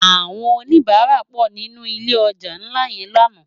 Àwòn ónibàrá pò ninú ilé òjá nlá yèn làná